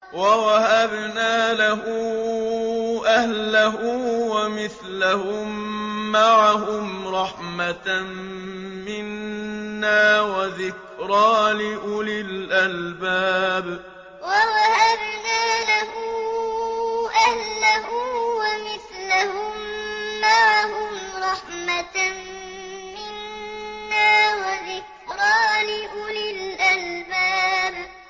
وَوَهَبْنَا لَهُ أَهْلَهُ وَمِثْلَهُم مَّعَهُمْ رَحْمَةً مِّنَّا وَذِكْرَىٰ لِأُولِي الْأَلْبَابِ وَوَهَبْنَا لَهُ أَهْلَهُ وَمِثْلَهُم مَّعَهُمْ رَحْمَةً مِّنَّا وَذِكْرَىٰ لِأُولِي الْأَلْبَابِ